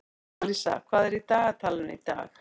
Alísa, hvað er á dagatalinu í dag?